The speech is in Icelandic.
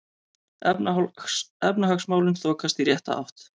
Efnahagsmálin þokast í rétta átt